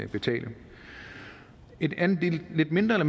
betales et lidt mindre